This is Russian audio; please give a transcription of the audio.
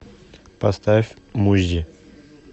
поставь муззи